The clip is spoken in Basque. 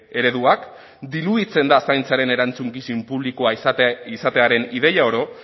ereduak dilutzen da zaintzaren erantzukizun publikoa izatearen ideia oro